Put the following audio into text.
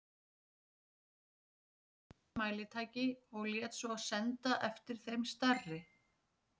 Tók hann með sér öll smærri mælitæki og lét svo senda eftir þeim stærri.